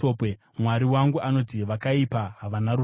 Mwari wangu anoti, “Vakaipa havana rugare.”